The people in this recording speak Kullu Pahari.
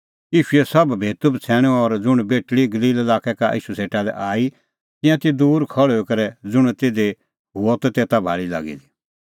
ईशूए सोभ भेतूबछ़ैणूं और ज़ुंण बेटल़ी गलील लाक्कै का ईशू सेटा आई तिंयां ती दूर खल़्हुई करै ज़ुंण तिधी हुअ तेता भाल़ी लागी दी